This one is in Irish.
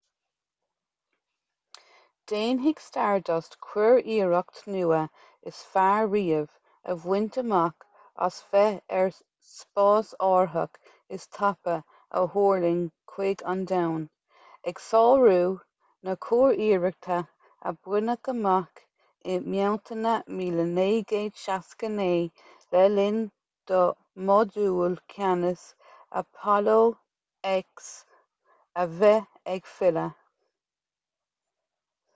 déanfaidh stardust curiarracht nua is fearr riamh a bhaint amach as bheith ar an spásárthach is tapa a thuirling chuig an domhan ag sárú na curiarrachta a baineadh amach i mbealtaine 1969 le linn do mhodúl ceannais apollo x a bheith ag filleadh